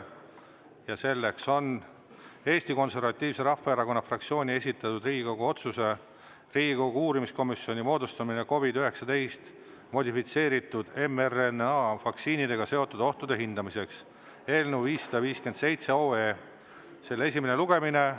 Päevakorra on Eesti Konservatiivse Rahvaerakonna fraktsiooni esitatud Riigikogu otsuse "Riigikogu uurimiskomisjoni moodustamine COVID-19 modifitseeritud mRNA vaktsiinidega seonduvate ohtude hindamiseks" eelnõu 557 esimene lugemine.